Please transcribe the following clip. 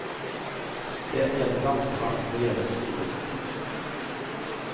Det gäller danskarna och det gäller från nyår.